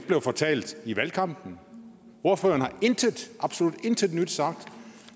blev fortalt i valgkampen ordføreren har intet absolut intet nyt sagt